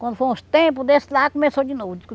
Quando foi uns tempo desse lá, começou de novo.